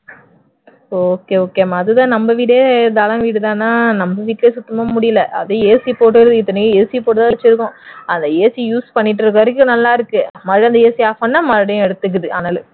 okay okay மா அதுதான் நம்ம வீடே தளம் வீடு தானா நம்மளுக்கே சுத்தமா முடியல அது AC போட்டு தான் இத்தனைக்கும் AC போட்டு தான் வச்சிருக்கோம் அந்த AC use பண்ணிட்டு இருக்கிற வரைக்கும் நல்லா இருக்கு மறுபடியும் அந்த AC off பண்ண மறுபடியும் எடுத்துக்குது அனல்